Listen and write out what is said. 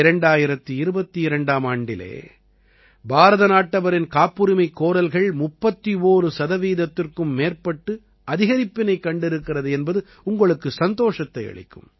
2022ஆம் ஆண்டிலே பாரத நாட்டவரின் காப்புரிமைக் கோரல்கள் 31 சதவீதத்திற்கும் மேற்பட்டு அதிகரிப்பினைக் கண்டிருக்கிறது என்பது உங்களுக்கு சந்தோஷத்தை அளிக்கும்